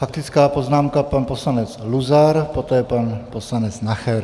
Faktická poznámka pan poslanec Luzar, poté pan poslanec Nacher.